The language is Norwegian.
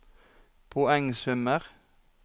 poengsummer